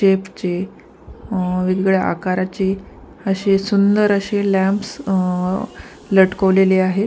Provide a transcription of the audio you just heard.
वेगवेगळ्या आकारचे असे सुंदर असे लॅम्पस लटकवलेले आहेत.